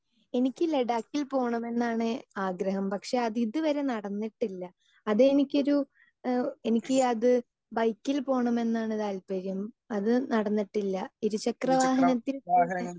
speaker 2 എനിക്ക് ലഡാക്കിൽ പോകണമെന്നാണ് ആഗ്രഹം പക്ഷേ അത് ഇതുവരെ നടന്നിട്ടില്ല അത് എനിക്കൊരു ഏഹ് എനിക്ക് അത് ബൈക്കിൽ പോണമെന്നാണ് താല്പര്യം അത് നടന്നിട്ടില്ല ഇരുചക്രവാഹനത്തിൽ പോകാൻ